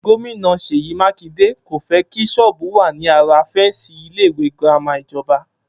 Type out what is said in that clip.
Gómìnà Sèyí Mákindé kò fé kí sọ́ọ́bù wà ní ara féǹsì ilé ìwé girama ìjọba